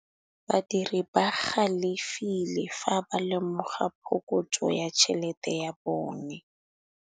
Badiri ba galefile fa ba lemoga phokotsô ya tšhelête ya bone.